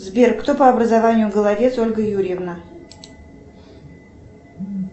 сбер кто по образованию головец ольга юрьевна